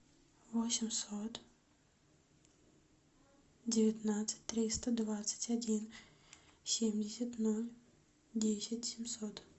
восемьсот девятнадцать триста двадцать один семьдесят ноль десять семьсот